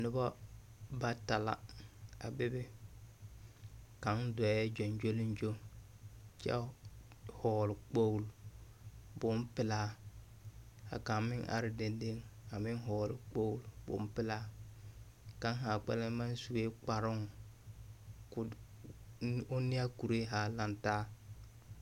Noba bata la a bebe kaŋa dɔɔŋ gyoŋgyoliŋgyo kyɛ hɔgele kpogili bompelaa ka kaŋa meŋ ka kaŋa me are dendeŋe a meŋ hɔgele kpogili bompelaa. Kaŋ ahaa kpɛlɛŋ maŋ sue kparoŋ ka o d…. one a kuree ha lantaa.